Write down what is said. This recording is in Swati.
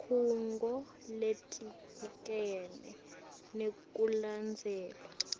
tikhungo letibukene nekulandzelwa